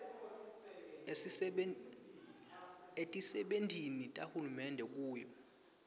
etisebentini tahulumende kuyo